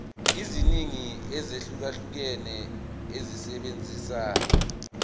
eziningi ezahlukahlukene esebenzisa